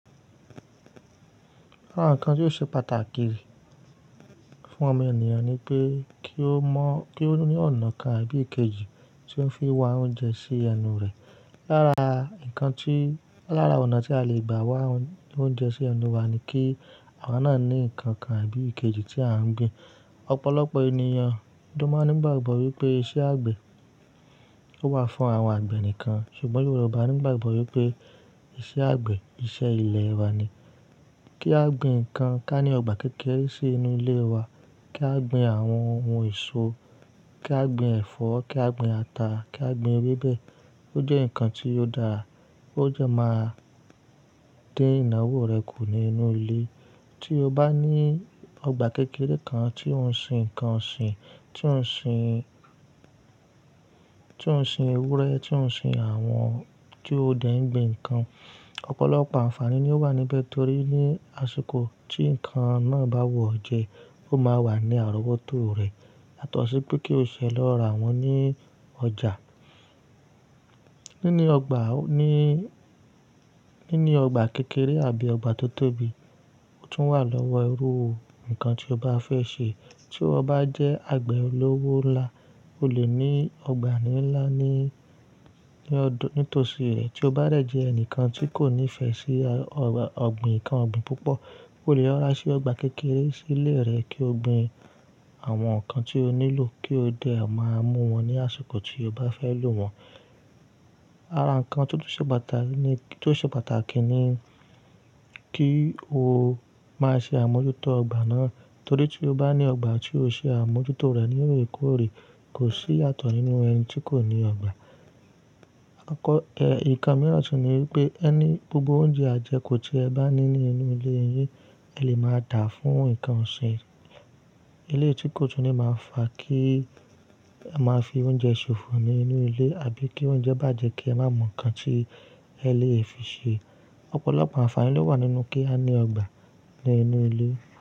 Ara nǹkan tí ó ṣe pàtàkì fún ọmọ ènìyàn ni pé kí ó mọ̀, kí ó ní ọ̀nà kan àbí èkejì tí ó ń fi wá oúnjẹ sí ẹnu rẹ̀. Lára nǹkan tí-- lára ọ̀nà tí a lè gbà wá oúnjẹ sí ẹnu wa ni kí àwa náà ní nǹkan kan àbí èkejì tí à ń gbin. Ọ̀pọ̀lọpọ̀ ènìyàn ló máa ní ìgbàgbọ́ wípé iṣẹ́ àgbẹ̀ ó wà fún àwọn àgbẹ̀ nìkan, ṣùgbọ́n Yorùbá ní ìgbàgbọ́ wípé iṣẹ́ àgbẹ̀ iṣẹ́ ilẹ̀ ẹni ni. Kí á gbin nǹkan ká ní ọgbà kékeré sí inú ilé wa, kí á gbin àwọn ohun èso, kí á gbin ẹ̀fọ́, kí á gbin ata, kí á gbin ewébẹ̀, ó jẹ́ nǹkan tí ó dáa, ó dẹ máa dín ìnáwó rẹ kù nínú ilé. Tí o bá ní ọgbà kékeré kan tí ó ń sin nǹkan ọ̀sìn, tí ó ń sin, tí ó ń sin ewúrẹ́, tí ó ń sin àwọn-- tí ó dẹ̀ ń gbin nǹkan, ọ̀pọ̀lọpọ̀ àǹfààní ni ó wà níbẹ̀ torí ní àsìkò tí nǹkan náà bá wù ọ́ jẹ, ó máa wà ní àrówótò rẹ yátọ̀ṣi pé kí o ṣẹ lọ ra wọn ní ọjà. Nínì ọgbà, ní, nínì ọgbà kékeré àbí ọgbà tó tóbi tún wà lọ́wọ́ irú nǹkan tí o bá fẹ́ sè. Tí iwo bá jẹ́ àgbẹ̀ olówó ńlá, o lè ní ọgbà ńlá ní, ní tòsí rẹ. Tí o bá dẹ̀ jẹ́ ẹnìkan tí kò nífẹ̀ẹ́ sí ọ̀gbìn, nǹkan ọ̀gbìn púpọ̀, o lè rorà sè ọgbà kékeré sílé rẹ kí o gbin àwọn nǹkan tí o nílò kí o dẹ̀ máa mú wọn ní àsìkò tí o bá fẹ́ lò wọ́n. Ara nǹkan tí ó tun ṣe pàtàkì ni, tí ó ṣe pàtàkì ni kí o máa ṣe àmójútó ọgbà náà torí tí o bá ní ọgbà tí o ṣe àmójútó rẹ̀ ní órè kórè kò sí yàtọ̀ nínú ẹni tí kò ní ọgbà. Ẹ̀ẹ̀, nǹkan mìíràn tun ni wípé ẹni-- gbogbo oúnjẹ àjẹkù tí ẹ bá ní nínú ilé yín ẹ lè máa dàá fún nǹkan ọ̀sìn. Ilé tí kò tún ní máa fà kí a máa fi oúnjẹ ṣòfò nínú ilé àbí kí oúnjẹ bàjẹ́ kí a máa mọ̀ nǹkan tí ẹ lè fi sè é. Ọ̀pọ̀lọpọ̀ àǹfààní ló wà nínú kí a ní ọgbà ní inú ilé.